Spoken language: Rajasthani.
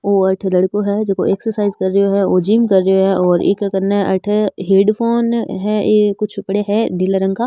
वो अठे लड़को है जो को एक्सरसाइज कर रो है वो जिम कर रेहो है और एक काने अठे हेड़फ़ोन है कुछ पड़या है नीले रंग का।